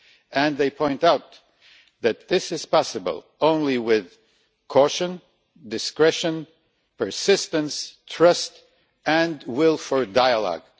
And they point out that this is possible only with caution, discretion, persistence, trust and the will for dialogue.